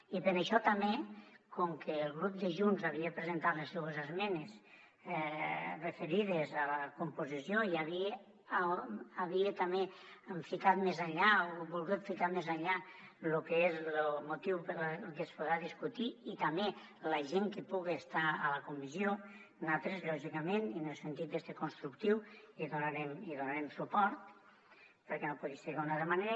i per això també com que el grup de junts havia presentat les seues esmenes referides a la composició i havia també ficat més enllà o volgut ficar més enllà lo que és lo motiu que es podrà discutir i també la gent que puga estar a la comissió nosaltres lògicament i en el sentit este constructiu hi donarem suport perquè no pot ser d’altra manera